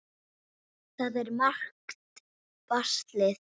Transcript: Það er margt baslið.